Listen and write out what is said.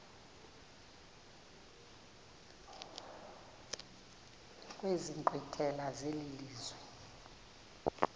kwezi nkqwithela zelizwe